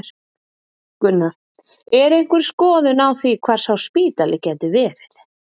Gunnar: Er einhver skoðun á því hvar sá spítali gæti verið?